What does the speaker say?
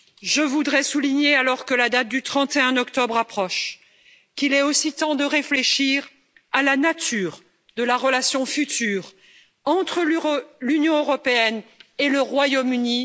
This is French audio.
Je voudrais souligner, alors que la date du 31 octobre approche, qu'il est aussi temps de réfléchir à la nature de la relation future entre l'Union européenne et le Royaume Uni.